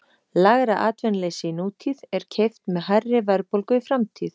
Lægra atvinnuleysi í nútíð er keypt með hærri verðbólgu í framtíð.